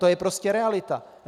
To je prostě realita.